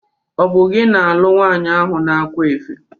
Ọ bụ gị na-alụụ nwanyị ahu n' akwa efe?